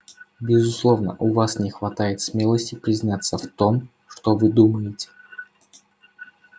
безусловно у вас не хватает смелости признаться в том что вы думаете